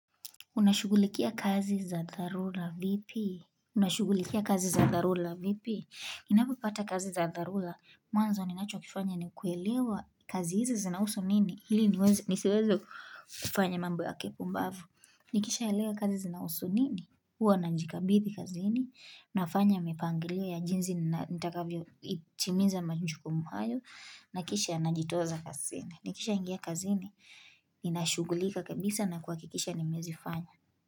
Unashugulikia kazi za tharula vipi? Unashugulikia kazi za tharula vipi? Ninapapata kazi za tharula? Mwanzo ni nacho kifanya ni kuelewa kazi hizi zinausu nini? Hili nisiwezo kufanya mambo ya kipu mbavu. Nikisha elewa kazi zinausu nini? Huwa na jikabithi kazi hini. Nafanya mipangilio ya jinzi nitakavyo itimiza majukumu hayo. Nakisha najitoza kazi hini. Nikisha ingia kazi hini. Ninashugulika kabisa na kua kikisha nimezi fanya.